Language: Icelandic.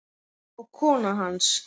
og kona hans.